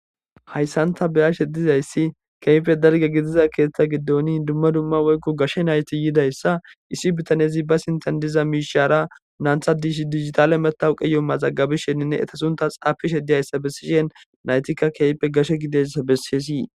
Hayssanta beyashe dizayssi keeyfe dalge gidiza keeththa giddoni dumma dumma woykko gashe nayti yidayssa issi bitanezi ba sintan diza miishaara naantha dish digitale metawu qeyo mazagabi shenninne eta sunta xaafishe diyayssa bessishen naytikka keeyppe gashe gidesa besesii.